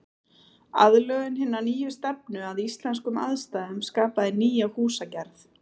Aðlögun hinnar nýju stefnu að íslenskum aðstæðum skapaði nýja húsagerð.